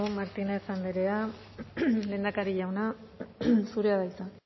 martínez andrea lehendakari jauna zurea da hitza